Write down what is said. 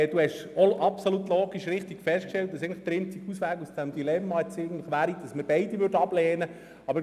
Sie haben auch richtig festgestellt, dass der einzige Ausweg aus diesem Dilemma darin bestünde, dass wir beide das Postulat ablehnen müssten.